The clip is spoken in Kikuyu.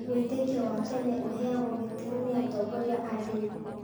Wĩĩtkĩo wa tene ũheagwo gĩtĩo nĩ atongoria a ndini.